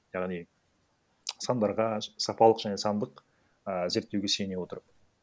яғни сандарға сапалық және сандық ііі зерттеуге сене отырып